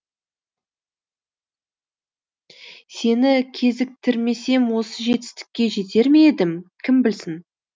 сені кезіктірмесем осы жетістікке жетер ме едім кім білсін